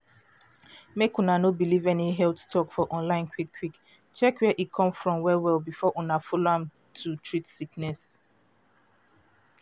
mek una no believe any health talk for online quick quick. check where e come from well well before una follow am to treat sickness.